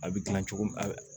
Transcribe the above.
A bɛ gilan cogo min a